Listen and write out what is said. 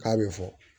K'a bɛ fɔ